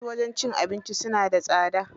Wasu wajen cin abincin suna da tsada.